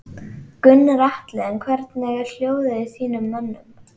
Gunnar Atli: En hvernig er hljóðið í þínum mönnum?